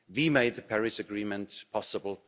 We made the Paris Agreement possible.